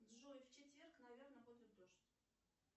джой в четверг наверно будет дождь